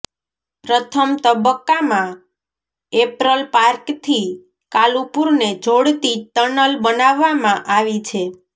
પ્રથમ તબક્કામાં એપરલ પાર્કથી કાલુપુરને જોડતી ટનલ બનાવવામાં આવી છે